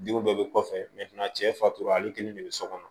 Diw bɛɛ bɛ kɔfɛ cɛ fatura ale kelen de bɛ so kɔnɔ